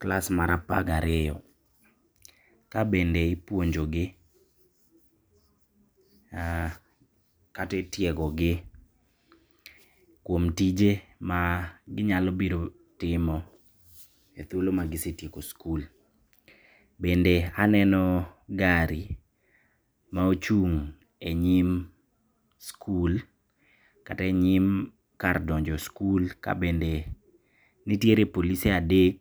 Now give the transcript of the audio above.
class mar apar gi ariyo. Kabende ipuonjogi kata itiegogi kuom tije maginyalo biro timo e thuolo magisetieko skul. Bende aneno gari maochung' e nyim skul, kata e nyim kar donjo skul kabende ntiere polise adek